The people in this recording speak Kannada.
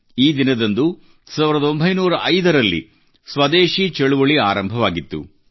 ಈ ದಿನದಂದು 1905 ರಲ್ಲಿ ಸ್ವದೇಶಿ ಚಳುವಳಿ ಆರಂಭವಾಗಿತ್ತು